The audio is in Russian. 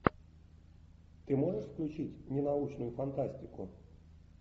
ты можешь включить ненаучную фантастику